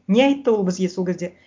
не айтты ол бізге сол кезде